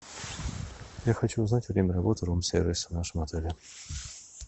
я хочу узнать время работы рум сервиса в нашем отеле